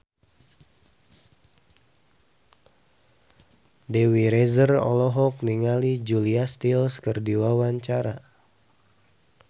Dewi Rezer olohok ningali Julia Stiles keur diwawancara